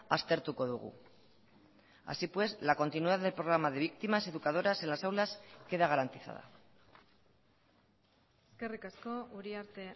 aztertuko dugu así pues la continuidad del programa de víctimas educadoras en las aulas queda garantizada eskerrik asko uriarte